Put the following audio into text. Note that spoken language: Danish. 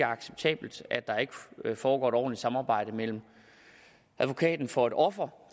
acceptabelt at der ikke foregår et ordentligt samarbejde mellem advokaten for et offer